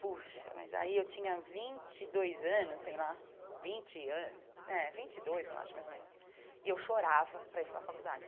Poxa, mas aí eu tinha vinte e dois anos, sei lá, vinte anos, é, vinte e dois eu acho, mais ou menos, e eu chorava para ir para a faculdade.